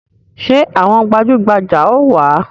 Ṣé àwọn gbajugbaja ó wá?